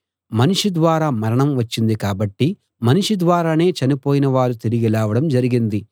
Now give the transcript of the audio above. మనిషి ద్వారా మరణం వచ్చింది కాబట్టి మనిషి ద్వారానే చనిపోయిన వారు తిరిగి లేవడం జరిగింది